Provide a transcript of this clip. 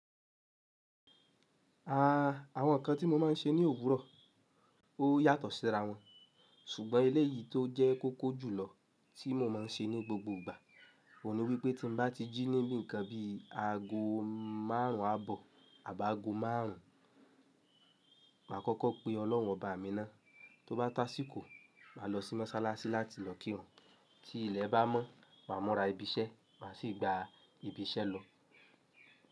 Ah, àwọn nǹkan tí mo máa n ṣe ní òwúrọ̀ ó yàtọ̀ síra wọn. Sugbon ilé yìí tó jẹ́ kókó jùlọ tí mo máa n ṣe ní gbogbo ìgbà, òun ni wípé tí mo bá ti jí níbi nǹkan bi aago márùn àbọ̀ àbá aago márùn, màá kọ́kọ́ pé Ọlọ́run ọba mi ná. Tóbá tásí kò, màá lọ sí mọ́sálásí láti lọ kírun. Tí ilẹ̀ bá mọ́, màá mọ́ra ibi iṣẹ́, màá sì gba ibi iṣẹ́ lọ.